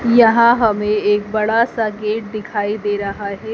यहा हमे एक बड़ा सा गेट दिखाई दे रहा है।